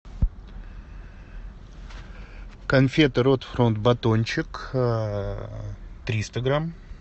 конфеты рот фронт батончик триста грамм